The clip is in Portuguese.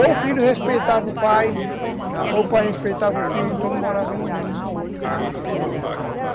Ou o filho respeitava o pai, ou o pai respeitava o filho, então não morava nenhum com o outro.